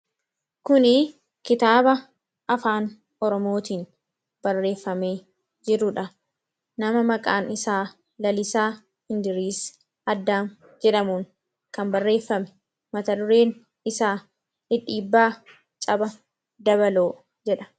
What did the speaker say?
Kuni kitaaba afaan oromootiin barreeffamee jiruudha nama maqaan isaa Lalisaa Hindiriis Addaam jedhamuun kan barreeffame matadureen isaa dhidhiibbaa caba dabaloo jedha.